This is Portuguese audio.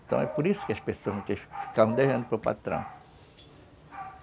Então é por isso que as pessoas ficavam devendo para o patrão.